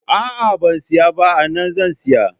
A'a ban siya ba, ana zan siya